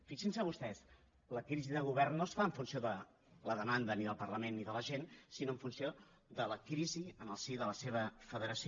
fixin se vostès la crisi de govern no es fa en funció de la demanda ni del parlament ni de la gent sinó en funció de la crisi en el si de la seva federació